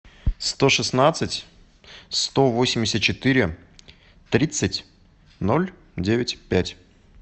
сто шестнадцать сто восемьдесят четыре тридцать ноль девять пять